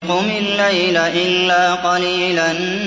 قُمِ اللَّيْلَ إِلَّا قَلِيلًا